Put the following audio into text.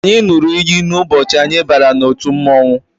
Anyị ṅụrụ iyi ụbọchị anyị bara n'otu mmọnwụ